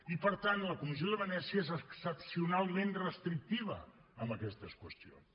i per tant la comissió de venècia és excepcionalment restrictiva en aquestes qüestions